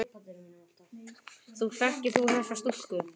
Þekkir þú þessa stúlku?